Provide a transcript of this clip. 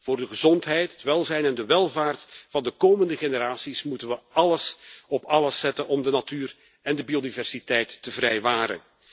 Voor de gezondheid, het welzijn en de welvaart van de komende generaties moeten we alles op alles zetten om de natuur en de biodiversiteit te vrijwaren.